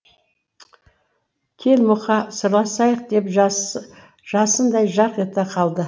кел мұқа сырласайық деп жасындай жарқ ете қалады